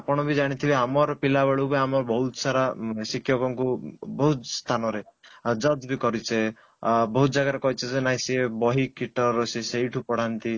ଆପଣ ବି ଜାଣିଥିବେ ଆମର ପିଲା ବେଳୁ ଆମେ ବହୁତ ସାରା ଶିକ୍ଷକ ଙ୍କୁ ବହୁତ କାମ ରେ judge ବି କରିଛେ ଆଁ ବହୁତ ଜାଗା ରେ କରିଛେ କି ସେ ବହି ସେ ସେଇଠୁ ପଢାନ୍ତି